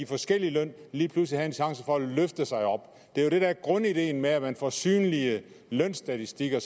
forskellig løn lige pludselig vil have en chance for at løfte sig op det er jo det der er grundideen i at man får synlige lønstatistikker